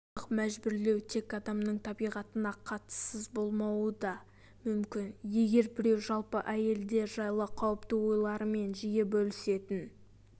жыныстық жәбірлеу тек адамның табиғатына қатыссыз болмауы да мүмкін егер біреу жалпы әйелдер жайлы қауіпті ойларымен жиі бөлісетін